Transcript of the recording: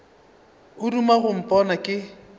o duma go mpona ke